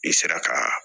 I sera ka